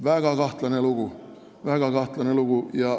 Väga kahtlane lugu, väga kahtlane lugu.